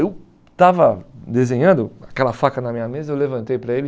Eu estava desenhando aquela faca na minha mesa, eu levantei para ele.